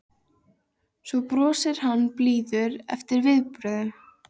Svo brosir hann og bíður eftir viðbrögðum